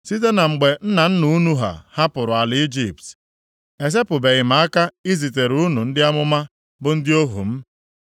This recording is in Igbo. Site na mgbe nna nna unu ha hapụrụ ala Ijipt, esepụbeghị m aka izitere unu ndị amụma bụ ndị ohu m.